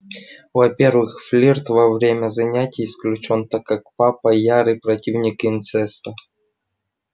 во-первых флирт во время занятий исключён так как папа ярый противник инцеста